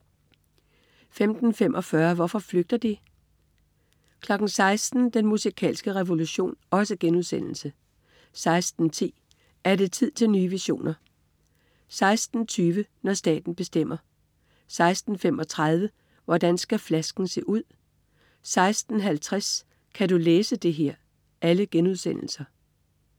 15.45 Hvorfor flygter de?* 16.00 Den musikalske revolution* 16.10 Er det tid til nye visioner?* 16.20 Når staten bestemmer* 16.35 Hvordan skal flasken se ud?* 16.50 Kan du læse det her?*